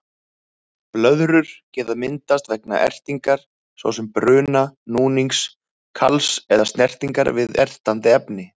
Blöðrur geta myndast vegna ertingar, svo sem bruna, núnings, kals eða snertingar við ertandi efni.